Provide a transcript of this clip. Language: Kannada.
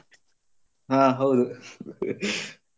ಆ ಹೌದು.